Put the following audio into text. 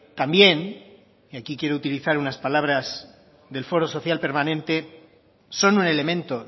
también y aquí quiero utilizar unas palabras del foro social permanente son un elemento